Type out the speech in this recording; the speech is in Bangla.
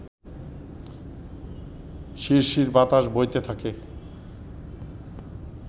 শিরশির বাতাস বইতে থাকে